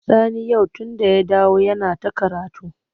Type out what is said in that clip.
Sani yau tunda ya dawo yana ta karatu.